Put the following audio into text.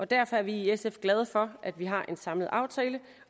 derfor er vi i sf glade for at vi har en samlet aftale